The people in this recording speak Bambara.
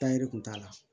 Taa yiri kun t'a la